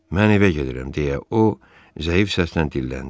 Mən evə gedirəm, deyə o zəif səslə dilləndi.